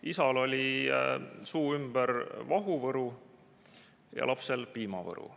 Isal oli suu ümber vahuvõru ja lapsel piimavõru.